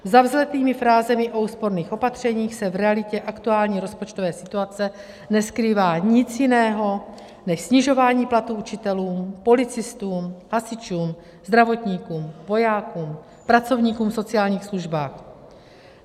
Za vzletnými frázemi o úsporných opatřeních se v realitě aktuální rozpočtové situace neskrývá nic jiného než snižování platů učitelům, policistům, hasičům, zdravotníkům, vojákům, pracovníkům v sociálních službách.